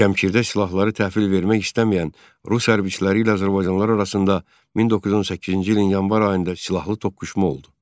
Şəmkirdə silahları təhvil vermək istəməyən rus hərbçiləri ilə azərbaycanlılar arasında 1918-ci ilin yanvar ayında silahlı toqquşma oldu.